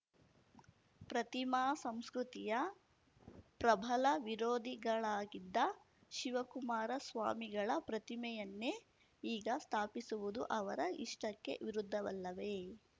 ಪ್ರತಿಮಾ ಸಂಸ್ಕೃತಿಯ ಪ್ರಬಲ ವಿರೋಧಿಗಳಾಗಿದ್ದ ಶಿವಕುಮಾರ ಸ್ವಾಮಿಗಳ ಪ್ರತಿಮೆಯನ್ನೇ ಈಗ ಸ್ಥಾಪಿಸುವುದು ಅವರ ಇಷ್ಟಕ್ಕೆ ವಿರುದ್ಧವಲ್ಲವೇ